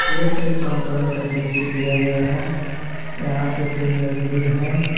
यह एक कंपनी का दृश्य दिया गया है यहां पे तीन मजदूर हैं।